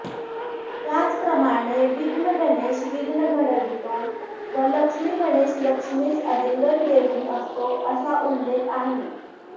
त्याचप्रमाणे विघ्नगणेश विघ्न घडवितो व लक्ष्मीगणेश लक्ष्मीस आलिंगन देऊन असतो असा उल्लेख आहे